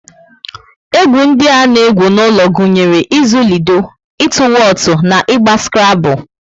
Egwu ndi a na egwu n'ulo gụnyere izu lido, ịtụ wotu na ịgba skrable